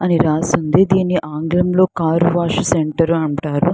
అని రాశి ఉంది దీనిని ఆంగ్లంలో కార్ వాష్ సెంటర్ అని అంటారు.